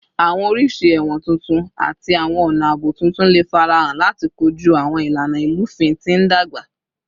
Awọn oriṣi ẹwọn tuntun ati awọn ọna aabo tuntun le farahan lati koju awọn ilana ilufin ti n dagba